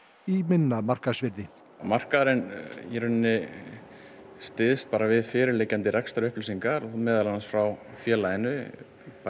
í minna markaðsvirði markaðurinn styðst bara við fyrirliggjandi rekstrarupplýsingar meðal annars frá félaginu